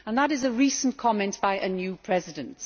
That is a recent comment by a new president.